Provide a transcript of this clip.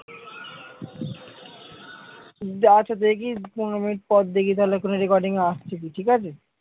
আচ্ছা দেখি পনেরো মিনিট পর দেখি তাহলে কোনো recording আসছে কি ঠিকাছে?